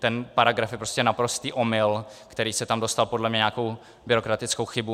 Ten paragraf je prostě naprostý omyl, který se tam dostal podle mě nějakou byrokratickou chybou.